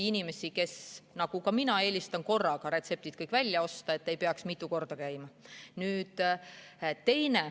Inimesed, kes nagu minagi eelistavad korraga kõik retseptid välja osta, ei peaks mitu korda käima.